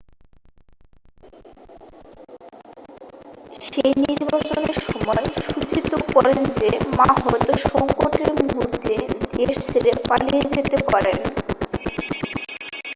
শেই নির্বাচনের সময় সূচিত করেন যে মা হয়তো সংকট-এর মুহূর্তে দেশ ছেড়ে পালিয়ে যেতে পারেন